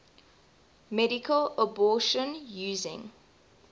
medical abortion using